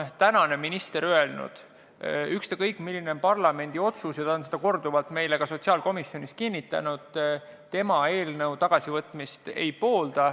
Praegune minister on öelnud, et ükstakõik, milline on parlamendi otsus – ta on seda korduvalt meile sotsiaalkomisjonis kinnitanud –, tema eelnõu tagasivõtmist ei poolda.